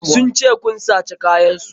Sun ce kun sace kayan su.